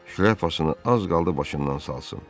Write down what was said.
Şlyapasını az qaldı başından salsın.